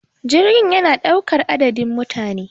jirgi yana daukar adadin mutane